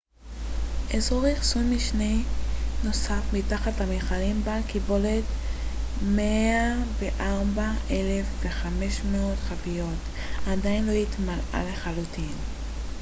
אזור אחסון משני נוסף מתחת למכלים בעל קיבולת של 104,500 חביות עדיין לא התמלא לחלוטין